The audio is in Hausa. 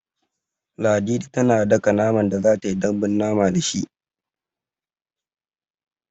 Ladidi tana daka naman da za ta yi dambun mama da shi.